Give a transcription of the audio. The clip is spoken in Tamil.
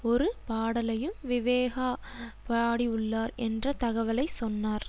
ஒரு பாடலையும் விவேகா பாடியுள்ளார் என்ற தகவலை சொன்னார்